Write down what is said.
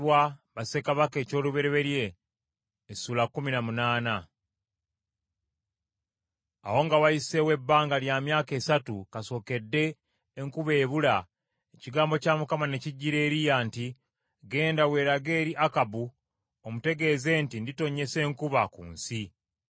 Awo nga wayiseewo ebbanga lya myaka essatu kasookedde enkuba ebula, ekigambo kya Mukama ne kijjira Eriya nti, “Genda weerage eri Akabu, omutegeeze nti nditonnyesa enkuba ku nsi.”